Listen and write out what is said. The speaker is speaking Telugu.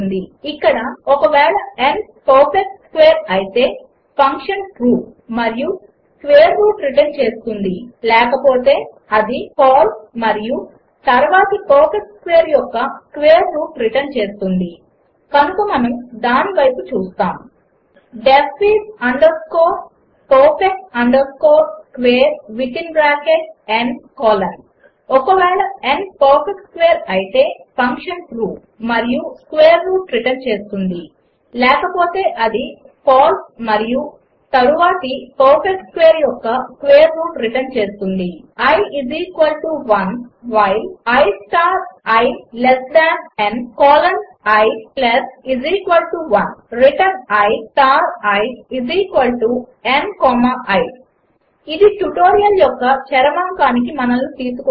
ఇక్కడ ఒక వేళ n పర్ఫెక్ట్ స్క్వేర్ అయితే ఫంక్షన్ ట్రూ మరియు స్క్వేర్ రూట్ రిటర్న్ చేస్తుంది లేకపోతే అది ఫాల్స్ మరియు తర్వాతి పర్ఫెక్ట్ స్క్వేర్ యొక్క స్క్వేర్ రూట్ రిటర్న్ చేస్తుంది కనుక మనం దాని వైపు చూస్తాము D E F I S underscore perfect underscore square within bracket n colon ఒక వేళ n పర్ఫెక్ట్ స్క్వేర్ అయితే ఫంక్షన్ ట్రూ మరియు స్క్వేర్ రూట్ రిటర్న్ చేస్తుంది లేకపోతే అది ఫాల్స్ మరియు తర్వాతి పర్ఫెక్ట్ స్క్వేర్ యొక్క స్క్వేర్ రూట్ రిటర్న్ చేస్తుంది i 1 while i star i less than n colon i 1 return i star i n comma i ఇది ట్యుటోరియల్ యొక్క చరమాంకానికి మనను తీసుకువస్తుంది